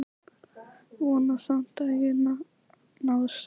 Vona samt að ég nái sex.